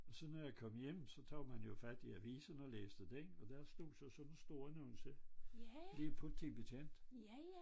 Og så når jeg kom hjem så tog man jo fat i avisen og læste den og så stod der sådan en stor annonce ny politibetjent